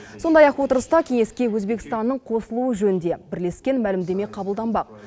сондай ақ отырыста кеңеске өзбекстанның қосылуы жөнінде бірлескен мәлімдеме қабылданбақ